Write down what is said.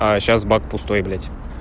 а сейчас бак пустой блядь